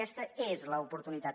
aquesta l’oportunitat